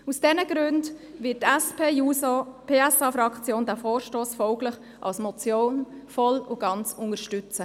Aus diesen Gründen wird die SP-JUSO-PSA-Fraktion diesen Vorstoss folglich als Motion voll und ganz unterstützen.